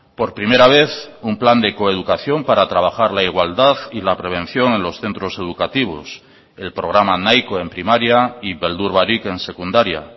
por primera vez un plan de coeducación para trabajar la igualdad y la prevención en los centros educativos el programa nahiko en primaria y beldur barik en secundaria